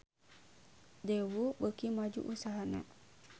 Daewoo beuki maju usahana